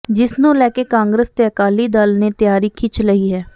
ਜਿਸ ਨੂੰ ਲੈ ਕੇ ਕਾਂਗਰਸ ਤੇ ਅਕਾਲੀ ਦਲ ਨੇ ਤਿਆਰੀ ਖਿੱਚ ਲਈ ਹੈ